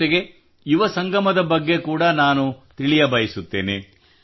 ಜೊತೆಗೆ ಯುವ ಸಂಗಮದ ಬಗ್ಗೆ ಕೂಡ ನಾನು ತಿಳಿಯಬಯಸುತ್ತೇನೆ